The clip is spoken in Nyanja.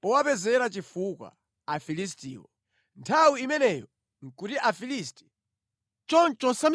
powapezera chifukwa Afilistiwo. Nthawi imeneyo nʼkuti Afilisti akulamulira Aisraeli).